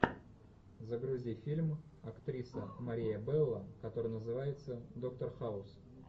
загрузи фильм актриса мария белло который называется доктор хаус